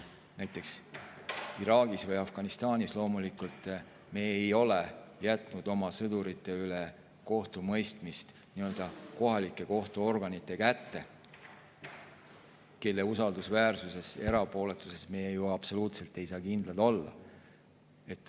Näiteks Iraagis või Afganistanis me loomulikult ei ole jätnud oma sõdurite üle kohtumõistmist kohalike kohtuorganite kätte, kelle usaldusväärsusele ja erapooletusele me ju absoluutselt ei saa kindlad olla.